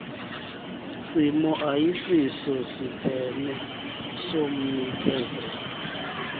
simo ayisosiphene somnikezeli